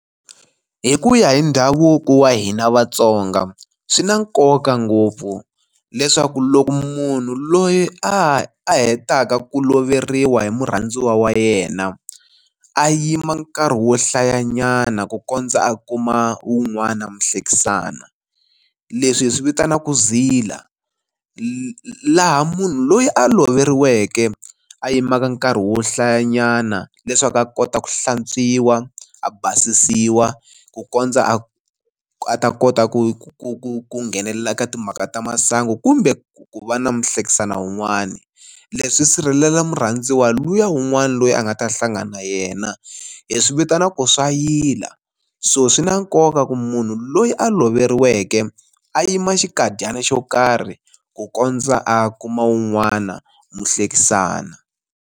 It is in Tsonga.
Hi ku ya hi ndhavuko wa hina Vatsonga swi na nkoka ngopfu leswaku loko munhu loyi a hetaka ku loveriwa hi murhandziwa wa yena a yima nkarhi wo hlayanyana ku kondza a kuma wun'wana muhlekisani, leswi hi swi vitanaku ku zila laha munhu loyi a loveriweke a yimaka nkarhi wo hlayanyana leswaku a kota ku hlantswiwa a basisiwa ku kondza a a ta kota ku ku nghenelela eka timhaka ta masangu kumbe ku va na muhlekisani wun'wani. Leswi sirhelela murhandziwa luya un'wana loyi a nga ta hlangana na yena hi swi vitanaku swa yila so swi na nkoka ku munhu loyi a loveriweke a yima xikadyana xo karhi ku kondza a kuma wun'wana muhlekisani.